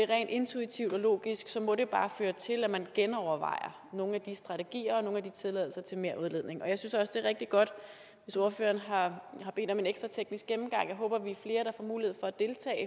rent intuitivt og logisk må det bare føre til at man genovervejer nogle af de strategier og nogle af de tilladelser til merudledning og jeg synes også at det er rigtig godt hvis ordføreren har bedt om en ekstra teknisk gennemgang jeg håber vi er flere der får mulighed for at deltage